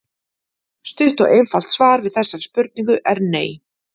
Stutt og einfalt svar við þessari spurningu er nei.